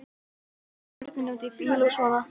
Börnin úti í bíl og svona.